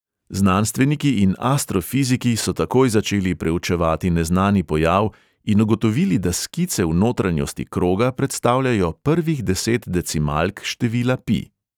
Znanstveniki in astrofiziki so takoj začeli preučevati neznani pojav in ugotovili, da skice v notranjosti kroga predstavljajo prvih deset decimalk števila pi.